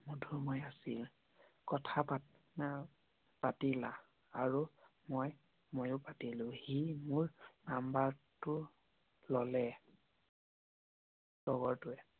মধুময় আছিল আৰু মই ময়ো পাতিলো হি মোৰ নাম্বৰ টো ললে লগৰটোৱে